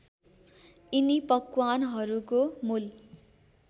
यिनी पकवानहरूको मूल